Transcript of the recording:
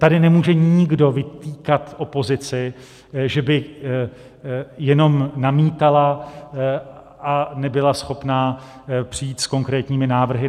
Tady nemůže nikdo vytýkat opozici, že by jenom namítala a nebyla schopna přijít s konkrétními návrhy.